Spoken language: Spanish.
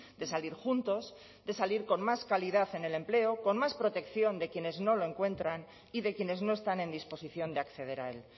de salir juntos de salir con más calidad en el empleo con más protección de quienes no lo encuentran y de quienes no están en disposición de acceder a él